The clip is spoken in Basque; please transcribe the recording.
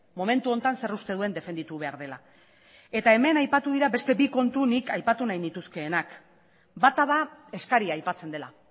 momentu honetan zer uste duen defenditu behar duela eta hemen aipatu dira bi kontu nik aipatu nahi nituzkeenak bata da eskaria aipatzen dela